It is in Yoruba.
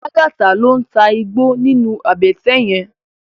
Lagata ló n tá igbó ninú àbètè yèn